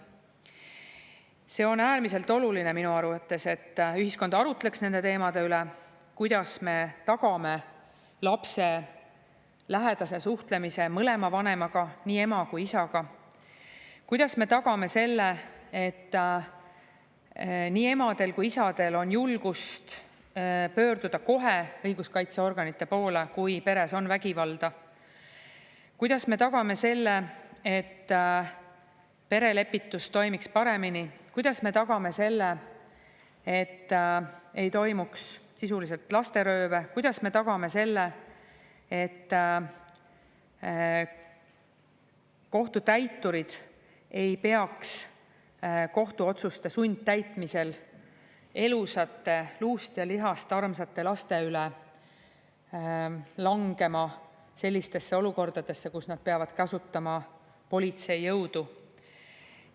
Minu arvates on äärmiselt oluline, et ühiskond arutleks nende teemade üle: kuidas me tagame lapse lähedase suhtlemise mõlema vanemaga, nii ema kui isaga; kuidas me tagame selle, et nii emadel kui isadel on julgust pöörduda kohe õiguskaitseorganite poole, kui peres on vägivalda; kuidas me tagame selle, et perelepitus toimiks paremini; kuidas me tagame selle, et ei toimuks sisuliselt lasterööve; kuidas me tagame selle, et kohtutäiturid ei peaks kohtuotsuste sundtäitmisel elusate, luust ja lihast armsate laste üle langema sellistesse olukordadesse, kus nad peavad kasutama politsei jõudu.